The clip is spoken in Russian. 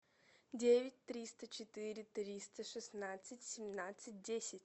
девять триста четыре триста шестнадцать семнадцать десять